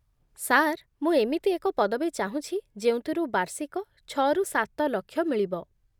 sir, ମୁଁ ଏମିତି ଏକ ପଦବୀ ଚାହୁଁଛି ଯେଉଁଥିରୁ ବାର୍ଷିକ ଛଅ ରୁ ସାତ ଲକ୍ଷ ମିଳିବ